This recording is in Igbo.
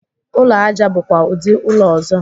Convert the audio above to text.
Ụlọ aja bụkwa ụdị ụlọ ọzọ.